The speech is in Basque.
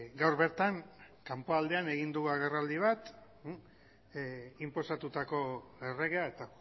gaur bertan kanpoaldean egin du agerraldi bat inposatutako erregea eta